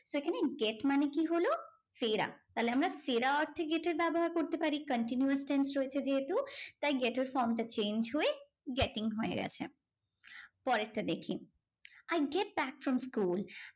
এখানে get মানে কি হলো? ফেরা। তাহলে আমরা ফেরা অর্থে get এর ব্যবহার করতে পারি। continuous tense রয়েছে যেহেতু তাই get এর form টা change হয়ে getting হয়ে গেছে। পরেরটা দেখি I get back from school